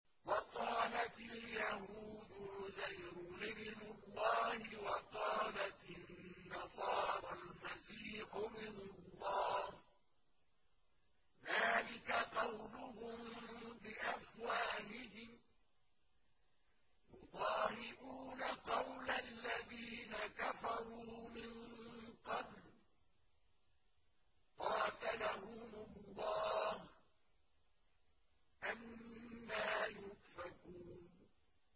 وَقَالَتِ الْيَهُودُ عُزَيْرٌ ابْنُ اللَّهِ وَقَالَتِ النَّصَارَى الْمَسِيحُ ابْنُ اللَّهِ ۖ ذَٰلِكَ قَوْلُهُم بِأَفْوَاهِهِمْ ۖ يُضَاهِئُونَ قَوْلَ الَّذِينَ كَفَرُوا مِن قَبْلُ ۚ قَاتَلَهُمُ اللَّهُ ۚ أَنَّىٰ يُؤْفَكُونَ